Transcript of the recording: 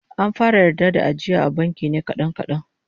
An fara yarda da ajiya a banki ne kadan kadan